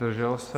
Zdržel se?